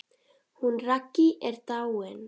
Hún Raggý er dáin.